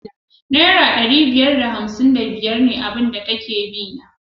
Naira ɗari biyar da hamsin da biyar ne abin da take bina